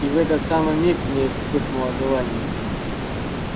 и в этот самый миг в ней вспыхнуло желание